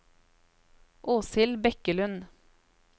Åshild Bekkelund